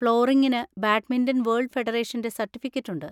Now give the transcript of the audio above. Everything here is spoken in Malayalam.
ഫ്ലോറിങിന് ബാഡ്മിൻറൺ വേൾഡ് ഫെഡറേഷൻ്റെ സർട്ടിഫിക്കറ്റ് ഉണ്ട്.